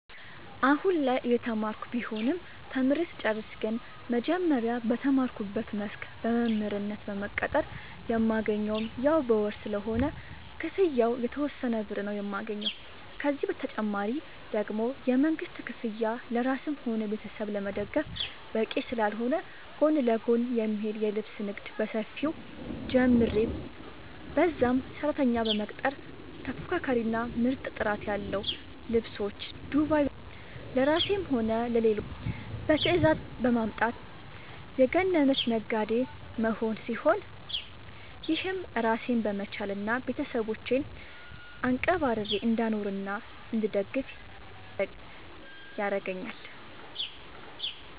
አሁላይ እየተማርኩ ቢሆንም ተምሬ ስጨርስ ግን መጀመሪያ በተማርኩበት መስክ በመምህርነት በመቀጠር የማገኘውም ያው በወር ስለሆነ ክፍያው የተወሰነ ብር ነው የማገኘው፤ ከዚህ ተጨማሪ ደግሞ የመንግስት ክፍያ ለራስም ሆነ ቤተሰብ ለመደገፍ በቂ ስላልሆነ ጎን ለጎን የሚሄድ የልብስ ንግድ በሰፊው ጀምሬ በዛም ሰራተኛ በመቅጠር ተፎካካሪ እና ምርጥ ጥራት ያለው ልብሶች ዱባይ በመሄድ ለራሴም ሆነ ለሌሎች በትዛዝ በማምጣት የገነነች ነጋዴ መሆን ሲሆን፤ ይህም ራሴን በመቻል እና ቤተሰቦቼን አንቀባርሬ እንዳኖርናእንድደግፍ ያረገአኛል።